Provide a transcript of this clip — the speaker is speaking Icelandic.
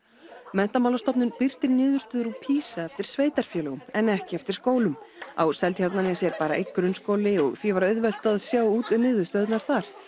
Menntamálastofnun birtir niðurstöður úr PISA eftir sveitarfélögum en ekki eftir skólum á Seltjarnarnesi er bara einn grunnskóli og því var auðvelt að sjá út niðurstöðurnar þar